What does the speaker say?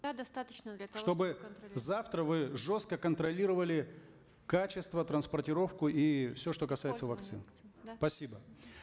да достаточно для того чтобы завтра вы жестко контролировали качество транспортировку и все что касается вакцин да спасибо